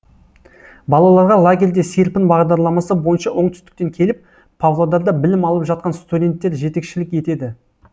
балаларға лагерьде серпін бағдарламасы бойынша оңтүстіктен келіп павлодарда білім алып жатқан студенттер жетекшілік етеді